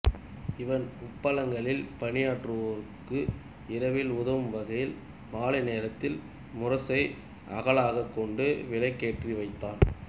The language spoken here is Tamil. இவன் உப்பளங்களில் பணியாற்றுவோருக்கு இரவில் உதவும் வகையில் மாலை நேரத்தில் முரசை அகலாகக் கொண்டு விளக்கேற்றி வைத்தான்